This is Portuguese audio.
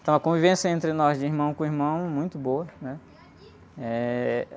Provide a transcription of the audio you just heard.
Então a convivência entre nós de irmão com irmão é muito boa, né? Eh...